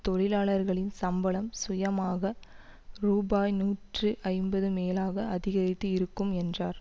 தொழிலாளர்களின் சம்பளம் சுயமாக ரூபா நூற்று ஐம்பது மேலாக அதிகரித்து இருக்கும் என்றார்